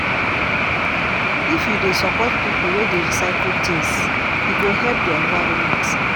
If you dey support pipo wey dey recycle tins, e go help di environment.